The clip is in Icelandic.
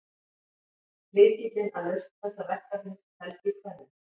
Lykillinn að lausn þessa verkefnis felst í tvennu.